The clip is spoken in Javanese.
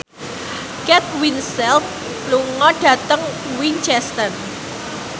Kate Winslet lunga dhateng Winchester